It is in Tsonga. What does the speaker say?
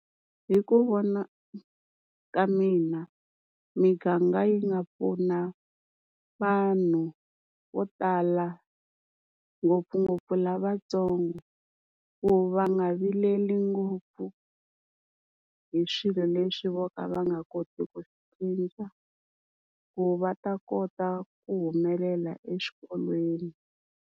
Hi ku vona ka mina miganga yi nga pfuna vanhu vo tala ngopfungopfu lavatsongo, ku va nga vileli ngopfu hi swilo leswi vo ka va nga koti ku cinca ku va ta kota ku humelela eswikolweni.